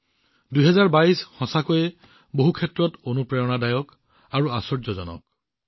২০২২ বৰ্ষটো সঁচাকৈয়ে বহুতো ক্ষেত্ৰত অতি অনুপ্ৰেৰণাদায়ক আশ্চৰ্যজনক আছিল